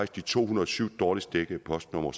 de to hundrede og syv dårligst dækkede postnumre